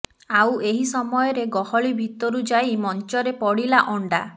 ଆଉ ଏହି ସମୟରେ ଗହଳି ଭିତରୁ ଯାଇ ମଞ୍ଚରେ ପଡ଼ିଲା ଅଣ୍ଡା